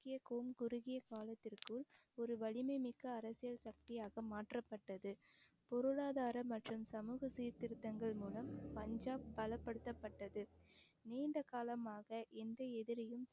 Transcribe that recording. குறுகிய காலத்திற்குள் ஒரு வலிமை மிக்க அரசியல் சக்தியாக மாற்றப்பட்டது பொருளாதார மற்றும் சமூக சீர்திருத்தங்கள் மூலம் பஞ்சாப் பலப்படுத்தப்பட்டது நீண்ட காலமாக எந்த எதிரியும்